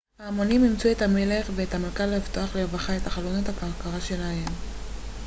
ההמונים אילצו את המלך והמלכה לפתוח לרווחה את חלונות הכרכרה שלהם